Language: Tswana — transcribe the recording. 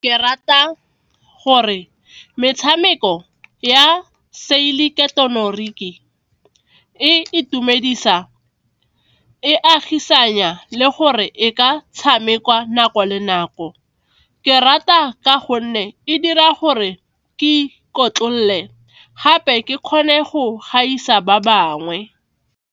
Ke rata gore metshameko ya seileketeroniki e itumedisa, e agisanya le gore e ka tshamekwa nako le nako, ke rata ka gonne e dira gore ke ikotlolole gape ke kgone go gaisa ba bangwe.